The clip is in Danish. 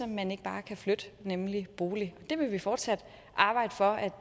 man ikke bare kan flytte nemlig bolig vi vil fortsat arbejde for at